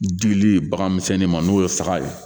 Dili bagan misɛnnin ma n'o ye saga ye